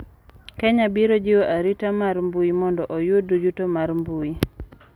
Kenya biro jiwo arita mar mbui mondo oyud yuto mar mbui